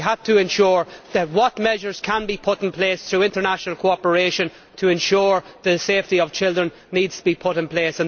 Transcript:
We have to ensure that what measures can be put in place, through international cooperation to ensure the safety of children, will be put in place.